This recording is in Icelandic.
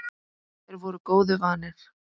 Þeir voru góðu vanir.